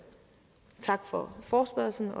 tak for forespørgslen